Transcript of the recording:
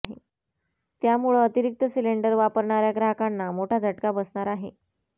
त्यामुळं अतिरिक्त सिलेंडर वापरणाऱ्या ग्राहकांना मोठा झटका बसणार आहे